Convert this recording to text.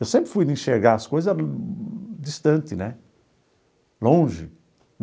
Eu sempre fui de enxergar as coisa distante né, longe.